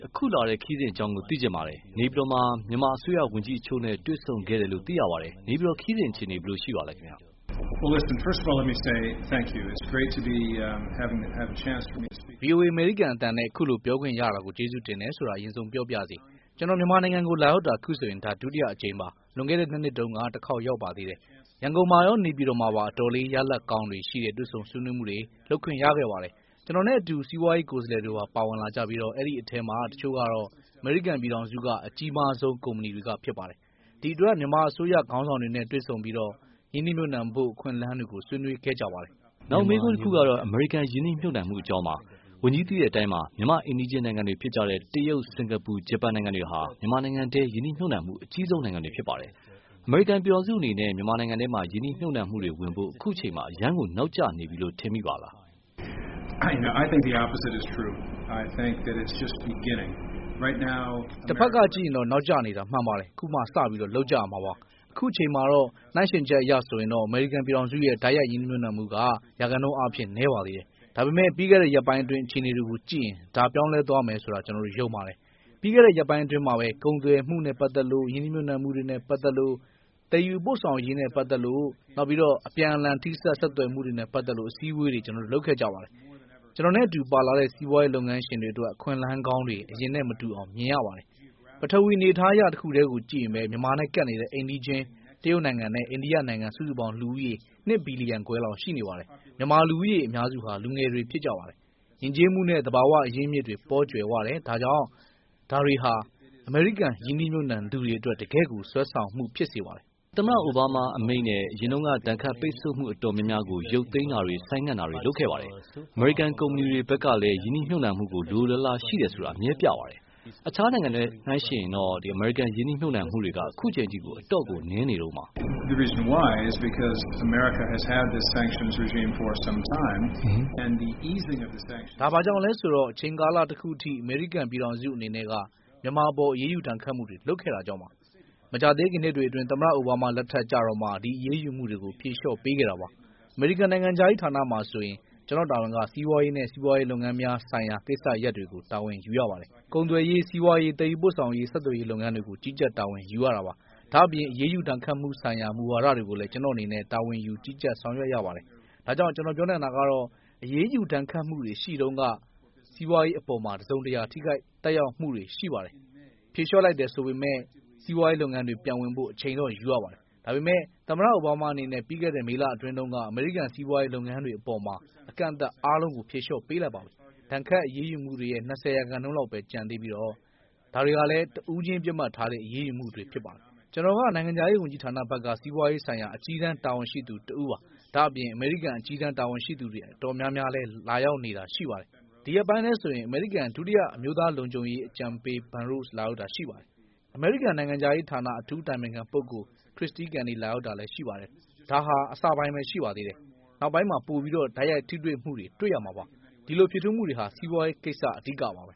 အခုလာတဲ့ ခရီးစဉ်အကြောင်းသိချင်ပါတယ်။ နေပြည်တော်မှာ မြန်မာအစိုးရ ဝန်ကြီးအချို့နဲ့ တွေ့ဆုံခဲ့တယ်လို့ သိရပါတယ်။ နေပြည်တော် ခရီးစဉ်အခြေအနေ ဘယ်လိုရှိပါသလဲ။ ဗွီအိုအေ အမေရိကန်အသံနဲ့ အခုလို ပြောခွင့်ရတာကို ကျေးဇူးတင်တယ်ဆိုတာ အရင်ဆုံး ပြောပါရစေ။ ကျနော် မြန်မာနိုင်ငံကို လာရောက်တာ အခုဆိုရင် ဒါ ဒုတိယအကြိမ်ပါ။ လွန်ခဲ့တဲ့နှစ်နှစ်တုန်းက တခေါက်ရောက်သေးတယ်။ ရန်ကုန်မှာရော နေပြည်တော်မှာပါ အတော်လေး ရလဒ်ကောင်းတွေရှိတဲ့ တွေ့ဆုံစည်းဝေးမှုတွေ လုပ်ခွင့်ရခဲ့ပါတယ်။ ကျနော်နဲ့အတူ စီးပွားရေးကိုယ်စားလှယ်တွေပါ ပါဝင်ကြပြီး၊ အဲဒီအထဲ အချို့ကတော့ အမေရိကန်ပြည်ထောင်စုက အကြီးဆုံးကုမ္ပဏီတွေ ဖြစ်ကြပါတယ်။ ဒီအတွက ်မြန်မာအစိုးရခေါင်းဆောင်တွေနဲ့ တွေ့ဆုံပြီးတော့ ရင်းနှီးမြုပ်နှံဖို့ အခွင့်အလမ်းတွေကို ဆွေးနွေးခဲ့ကြပါတယ်။ နောက်မေးခွန်းကတော့ အမေရိကန် ရင်းနှီးမြုပ်နှံမှုအကြောင်းပါ။ ဝန်ကြီးသိတဲ့အတိုင်းပဲ မြန်မာအိမ်နီးချင်းနိုင်ငံတွေဖြစ်တဲ့ တရုတ် စင်ကာပူ ဂျပန်နိုင်ငံတွေဟာ မြန်မာနိုင်ငံတွင်း ရင်းနှီးမြုပ်နှံမှုအကြိးဆုံးနိုင်ငံတွေပါ။ အမေရိကန်ပြည်ထောင်စုအနေနဲ့ မြန်မာနိုင်ငံမှာ ရင်းနှီးမြုပ်နှံမှုတွေဝင်ဖို့ အခုအချိန် အရမ်းကို နောက်ကျနေပြီလို့ ထင်မိပါလား။ တဖက်ကကြည့်ရင်တော့ နောက်ကျနေတာမှန်ပါတယ်။ ခုမှ စပြီး လုပ်ကြရမှာပါ။ အခုချိန်မှာတော့ နှိုင်းယှဉ်ချက်အရဆိုရင်တော့ အမေရိကန်ပြည်ထောင်စုရဲ့ တိုက်ရိုက်ရင်းနှီးမြုပ်နှံမှုက ရာခိုင်နှုန်းအားဖြင့် နည်းပါးသေးတယ်။ ဒါပေမယ့် ပြီးခဲ့တဲ့ရက်ပိုင်းအတွင်းအခြေအနေတွေကို ကြည့်ရင် ဒါ ပြောင်းလဲသွားမယ်ဆိုတာ ကျနော် ယုံတယ်။ ပြီးခဲ့တဲ့ရက်ပိုင်းအတွင်းမှာပဲ ကုန်သွယ်မှုနဲ့ပတ်သက်လို့ ရင်းနှီးမြုပ်နှံမှုတွေနဲ့ပတ်သက်လို့ သယ်ယူပို့ဆောင်ရေးနဲ့ပတ်သက်လို့ အပြန်အလှန်ထိစပ်ဆက်သွယ်မှုတွေနဲ့ပတ်သက်လို့ အစည်းအဝေးတွေ ကျနော်တို့လုပ်ခဲ့ကြတယ်။ ကျနော်နဲ့အတူပါလာတဲ့ စီးပွားရေးလုပ်ငန်းရှင်တွေအတွက် အခွင့်အလမ်းကောင်းတွေကို အရင်နဲ့မတူအောင် မြင်လာရတယ်။ ပထဝီ အနေအထားအရ တခုတည်းကိုကြည့်ရင်ပဲ မြန်မာနဲ့ကပ်နေတဲ့ အိမ်နီးချင်း တရုတ်နိုင်ငံနဲ့အိနိယနိုင်ငံ စုစုပေါင်း လူဦးရည် စုစုပေါင်း ၂ ဘီလီယံခွဲလောက်ရှိနေပါတယ်။ မြန်မာ လူဦးရည်အများစုဟာ လူငယ်တွေဖြစ်ကြပါတယ်။ ယဉ်ကျေးမှုနဲ့ သဘာဝအရင်းအမြစ် ပေါကြွယ်ပါတယ်။ ဒါတွေဟာ အမေရိကန်ရင်းနှီးမြုပ်နှံသူတွေအတွက် တကယ့်ကို ဆွဲဆောင်မှုဖြစ်စေပါတယ်။ ဒါပေမယ့်လည်း သမ္မတ အိုဘားမားအမိန့်နဲ့ အရင်တုန်းက ဒဏ်ခတ်ပိတ်ဆို့မှုအတော်များများကို ရုပ်သိမ်းတာတွေ ဆိုင်းငံတာတွေ လုပ်ခဲ့ပါတယ်။ အမေရိကန်ကုမ္ပဏီတွေဘက်ကလည်း ရင်းနှီးမြုပ်နှံဖို့ လိုလိုလားလားရှိတယ်ဆိုတာ အမြဲပြပါတယ်။ အခြားနိုင်ငံတွေနဲ့ နှိုင်းယှဉ်ချက်အရဆိုရင်တော့ အမေရိကန်ရင်းနှီးမြု့ပ်နှံမှုတွေက အတော့်ကို နည်းနေတုန်းပါ။ ဒါဘာကြောင့်လဲဆိုတော့ အချိန်ကာလတခုအထိ အမေရိကန်ပြည်ထောင်စုအနေနဲ့က မြန်မာအပေါ် အရေးုယူဒဏ်ခတ်မှုတွေ လုပ်ခဲ့တာကြောင့်ပါ။ မကြာသေးခင်နှစ်တွေအတွင်း သမ္မတအိုဘားမား လက်ထက်ကျတော့မှ ဒီအရေးယူမှုတွေကို ဖြေလျော့ပေးခဲ့တာပါ။ အမေရိကန်နိုင်ငံခြားရေးဌာနမှာဆိုရင် ကျနော့်တာဝန်က စီးပွားရေးနဲ့ စီးပွားရေးလုပ်ငန်းများဆိုင်ရာကိစ္စရပ်တွေကို တာဝန်ယူရပါတယ်။ ကုန်သွယ်ရေး၊ စီးပွားရေး၊ သယ်ယူပို့ဆောင်ရေး ဆက်သွယ်ရေးလုပ်ငန်းတွေကို ကြီးကြပ်တာဝန်ယူရတာပါ။ ဒါ့အပြင် အရေးယူဒဏ်ခတ်မှုဆိုင်ရာမူဝါဒတွေကိုလည်း ကျနော့်အနေနဲ့ တာဝန်ယူကြီးကြပ်ဆောင်ရွက်ရပါတယ်။ ဒါကြောင့် ကျနော်ပြောနိုင်တာကတော့ အရေးယူဒဏ်ခတ်မှုတွေရှိတုန်းက စီးပွားရေးအပေါ်မှာ တစုံတရာ ထိခိုက်သက်ရောက်မှုတွေ ရှိပါတယ်။ ဖြေလျှော့လိုက်တယ်ဆိုပေမယ့် စီးပွားရေးလုပ်ငန်းတွေ ပြန်ဝင်ဖို့ အချိန်တော့ယူရပါတယ်။ ဒါပေမယ့် သမ္မတအိုဘားမားအနေနဲ့ ပြီးခဲ့တဲ့မေလအတွင်းတုန်းက အမေရိကန်စီးပွားရေးလုပ်ငန်းတွေအပေါ် အကန့်အသတ်အားလုံးကို ဖြေလျှော့ပေးလိုက်ပါပြီ။ ဒဏ်ခတ်အရေးယူမှုတွေရဲ့ ၂၀ ရာခိုင်နှုန်းပဲ ကျန်နေသေးပြီး၊ ဒါတွေဟာ တဦးချင်း ပစ်မှတ်ထားတဲ့ အရေးယူမှုတွေဖြစ်ပါတယ်။ ကျနော်ဟာ နိုင်ငံခြားရေးဝန်ကြီးဌာနဘက်က စီးပွားရေးဆိုင်ရာအကြီးတန်းတာဝန်ရှိသူတဦးပါ။ ဒါ့အပြင် အမေရိကန်အကြီးတန်းတာဝန်ရှိသူတွေအတော်များများလည်း လာရောက်နေတာရှိပါတယ်။ ဒီရက်ပိုင်းထဲဆိုရင် အမေရိကန် ဒုတိယ အမျိုးသားလုံခြုံရေးအကြံပေး ဘန်ရုဒ် လာရောက်တာရှိပါတယ်။ အမေရိကန်နိုင်ငံခြားရေးဌာန အထူးအတိုင်ပင်ခံပုဂိုလ် Kristie Kenney လာရောက်တာရှိပါတယ်။ ဒါဟာ အစပိုင်းပဲ ရှိပါသေးတယ်။ နောက်ပိုင်းမှာ ပိုပြီး တိုက်ရိုက်ထိစပ်မှုတွေ တွေ့ရမှာပါ။ ဒီလို ဖြစ်ထွန်းမှုတွေမှာ စီးပွားရေးကိစ္စဟာ အဓိကပါပဲ။